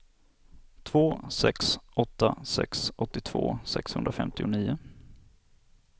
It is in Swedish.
två sex åtta sex åttiotvå sexhundrafemtionio